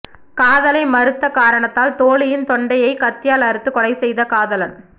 காதலை மறுத்த காரணத்தால் தோழியின் தொண்டையை கத்தியால் அறுத்து கொலை செய்த காதலன்